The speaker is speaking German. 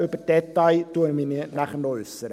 Zu den Details werde ich mich später noch äussern.